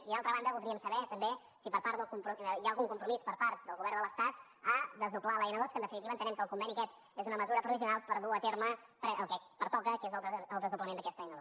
i d’altra banda voldríem saber també si hi ha algun compromís per part del govern de l’estat a desdoblar l’n ii que en definitiva entenem que el conveni aquest és una mesura provisional per dur a terme el que pertoca que és el desdoblament d’aquesta n ii